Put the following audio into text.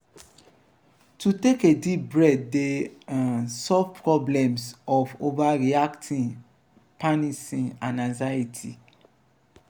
to take a deep breath de um solve problems of overreacting panicing and anxiety